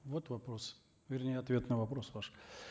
вот вопрос вернее ответ на вопрос ваш